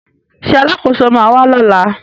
Ṣé Alákóso ma wà lọ́la?